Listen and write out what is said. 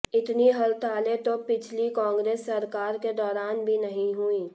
इतनी हड़तालें तो पिछली कांग्रेस सरकार के दौरान भी नहीं हुईं